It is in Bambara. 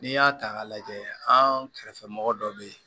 N'i y'a ta k'a lajɛ an kɛrɛfɛ mɔgɔ dɔ bɛ yen